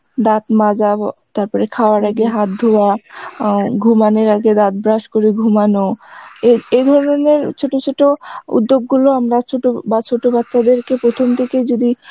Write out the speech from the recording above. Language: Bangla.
দাঁত মাজা, তারপরে খাওয়ার পরে হাত ধোয়া, অ্যাঁ ঘুমানোর আগে দাঁত ব্রাশ করে ঘুমানো এ এ ধরনের ছোটো ছোটো উদ্যোগ গুলো আমরা ছোটো বা ছোটো বাচ্চাদের কে প্রথম থেকেই যদি